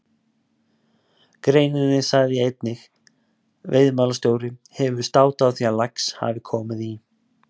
greininni sagði ég einnig: Veiðimálastjóri hefur státað af því að lax hafi komið í